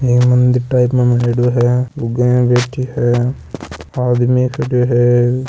ये मंदिर टाइप मा बनाएडो है लुगाईया बैठी है आदमी खड्यो हैं।